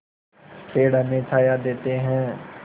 पेड़ हमें छाया देते हैं